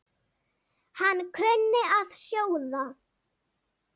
Hann kunni að sjóða.